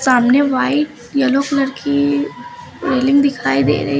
सामने white yellow colour की ceiling दिखाई दे रही--